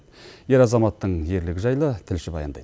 ер азаматтың ерлігі жайлы тілші баяндайды